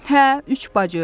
Hə, üç bacı.